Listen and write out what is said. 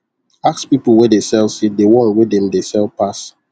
ask people wey dey sell seed the one wey dem dey sell pass